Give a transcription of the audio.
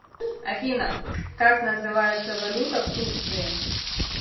афина как называется валюта в турции